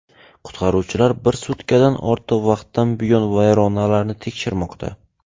Qutqaruvchilar bir sutkadan ortiq vaqtdan buyon vayronalarni tekshirmoqda.